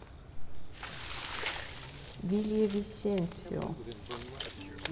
вильявисенсио